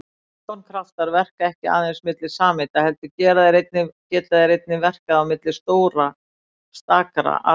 London-kraftar verka ekki aðeins milli sameinda heldur geta þeir einnig verkað milli stakra atóma.